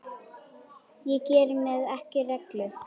Ég geri mér ekki rellu.